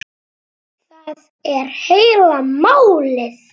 Það er heila málið!